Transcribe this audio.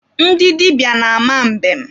Ndị dịbịa na-ama mbem.